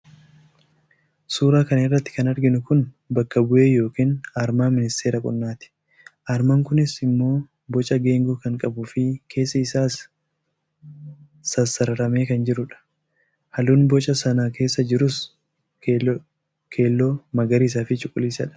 suuraa kana irratti kan arginu kun bakka bu'ee yookiin aarmaa ministeera qonnaati. armaan kunis immoo boca geengoo kan qabuu fi keessi isaas immoo sassararamee kan jirudha. halluun boca sana keessa jirus immoo keelloo, magariisaafi cuquliisadha.